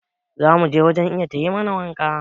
Za mu je wajen Iya ta yi mana waka.